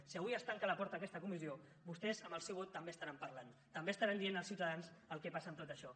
si avui es tanca la porta a aquesta comissió vostès amb el seu vot també estaran parlant també estaran dient als ciutadans el que passa amb tot això